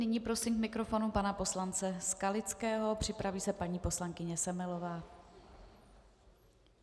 Nyní prosím k mikrofonu pana poslance Skalického, připraví se paní poslankyně Semelová.